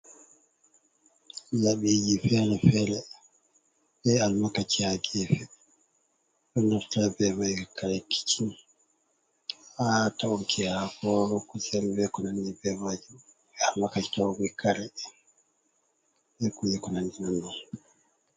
Labiji fere-fere, be almakaci ha gefe. Ɗon naftira be mai ha kare kicin, ha ta'uke haako, kusel be ko nanɗi be maji. Be almakaci ta'uki kare, be kuje ko nanɗi bei mai.